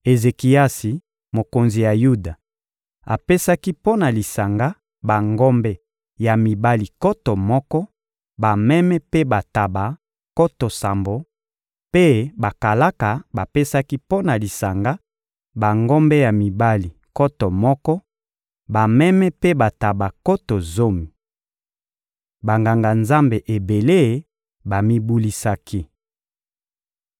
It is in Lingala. Ezekiasi, mokonzi ya Yuda, apesaki mpo na lisanga bangombe ya mibali nkoto moko, bameme mpe bantaba nkoto sambo; mpe bakalaka bapesaki mpo na lisanga bangombe ya mibali nkoto moko, bameme mpe bantaba nkoto zomi. Banganga-Nzambe ebele bamibulisaki.